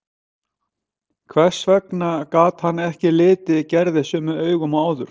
Hvers vegna gat hann ekki litið Gerði sömu augum og áður?